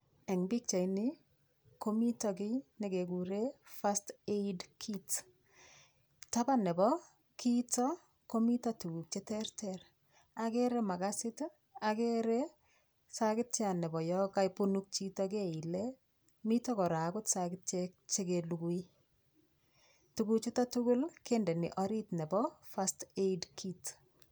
Eng' pikchaini komito kii nekekure first aid kit taban nebo kiito komito tukuk cheterter agere makasit agere sakityat nebo yo kabunuk chito keile mito kora akot sakityek chekelugui tukuchuto tugul kendeni orit nebo first aid kit